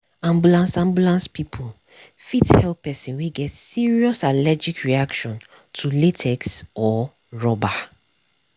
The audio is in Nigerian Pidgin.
ambulance ambulance people fit help person wey get serious allergic reaction to latex or rubber.